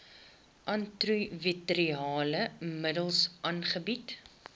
antiretrovirale middels aangebied